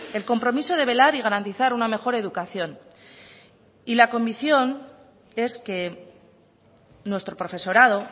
el compromiso de velar y garantizar una mejor educación y la convicción es que nuestro profesorado